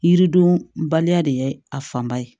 Yiriden baliya de ye a fanba ye